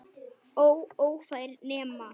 Og ófær nema.